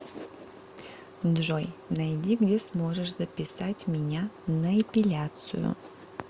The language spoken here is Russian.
джой найди где сможешь записать меня на эпиляцию